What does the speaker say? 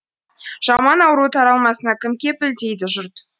жаман ауру таралмасына кім кепіл дейді жұрт